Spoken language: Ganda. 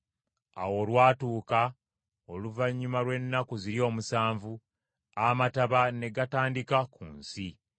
Awo olwatuuka oluvannyuma lw’ennaku ziri omusanvu, amataba ne gatandika ku nsi.